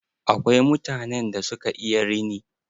Akwai mutanen da suka iya rini.